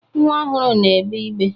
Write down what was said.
Nwa ọhụrụ na-egbe igbe.